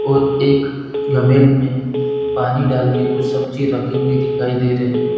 और एक धर्मिल मे पानी डालके कुछ सब्जी रखी हुई दिखाई दे रही है।